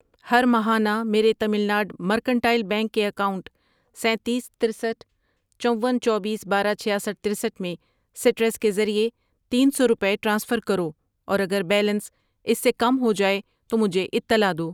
ہر ماہانہ میرے Tamil Nadu mercantile bank کے اکاؤنٹ سینتیس، ترستھ ،چون، چوبیس، بارہ، چھیاسٹھ ،ترسٹھ ، میں سٹرس کے ذریعے تین سو روپے ٹرانسفر کرو اور اگر بیلنس اس سے کم ہو جائے تو مجھے اطلاع دو۔